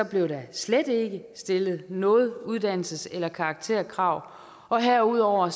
blev der slet ikke stillet noget uddannelses eller karakterkrav og herudover